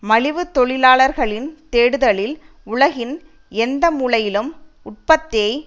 மலிவு தொழிலாளர்களின் தேடுதலில் உலகின் எந்த மூலையிலும் உற்பத்தியை